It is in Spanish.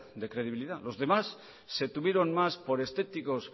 de credibilidad los demás se tuvieron más por estéticos